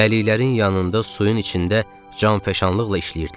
Dəliklərin yanında suyun içində canfəşanlıqla işləyirdilər.